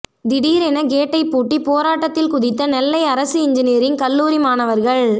திடீர் என கேட்டை பூட்டி போராட்டத்தில் குதித்த நெல்லை அரசு என்ஜினியரிங் கல்லூரி மாணவர்கள்